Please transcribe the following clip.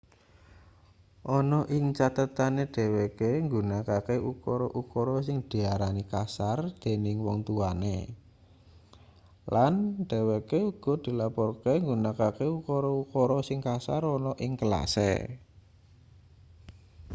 ana ning cathetane dheweke nggunakake ukara-ukara sing diarani kasar dening wong tuwane lan dheweke uga dilaporke nggunakake ukara-ukara sing kasar ana ning kelase